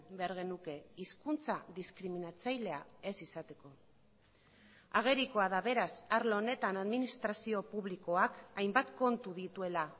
behar genuke hizkuntza diskriminatzailea ez izateko agerikoa da beraz arlo honetan administrazio publikoak hainbat kontu dituela